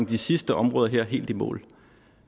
de sidste områder her helt i mål